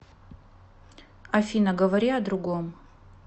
афина говори о другом